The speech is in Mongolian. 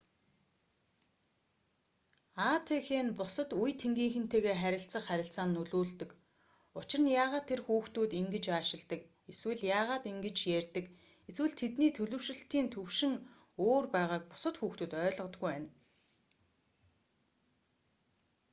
атх нь бусад үе тэнгийнхэнтэйгээ харилцах харилцаанд нөлөөлдөг учир нь яагаад тэр хүүхдүүд ингэж аашилдаг эсвэл яагаад ингэж ярьдаг эсвэл тэдний төлөвшилтийн түвшин өөр байгааг бусад хүүхдүүд ойлгодоггүй байна